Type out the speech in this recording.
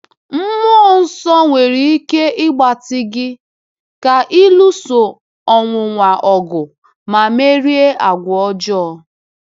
Mmụọ Nsọ nwere ike ịgbatị gị ka ị lụso ọnwụnwa ọgụ ma merie àgwà ọjọọ.